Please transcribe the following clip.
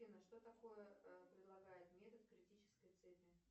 афина что такое предлагает метод критической цепи